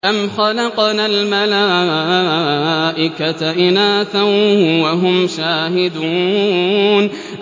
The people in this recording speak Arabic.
أَمْ خَلَقْنَا الْمَلَائِكَةَ إِنَاثًا وَهُمْ شَاهِدُونَ